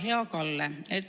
Hea Kalle!